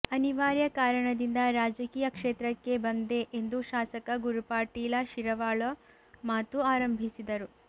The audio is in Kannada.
ಅನಿವಾರ್ಯ ಕಾರಣದಿಂದ ರಾಜಕೀಯ ಕ್ಷೇತ್ರಕ್ಕೆ ಬಂದೆ ಎಂದು ಶಾಸಕ ಗುರುಪಾಟೀಲ ಶಿರವಾಳ ಮಾತು ಆರಂಭಿಸಿದರು